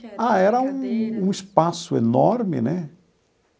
Ah, era um um espaço enorme, né?